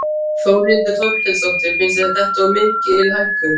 Þórhildur Þorkelsdóttir: Finnst þér þetta of mikil hækkun?